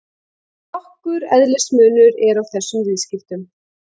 Nokkur eðlismunur er á þessum viðskiptum.